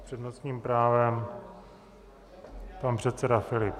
S přednostním právem pan předseda Filip.